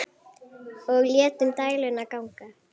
Og létum dæluna ganga.